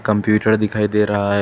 Computer दिखाई दे रहा है।